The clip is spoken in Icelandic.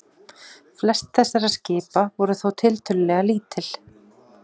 Flest þessara skipa voru þó tiltölulega lítil.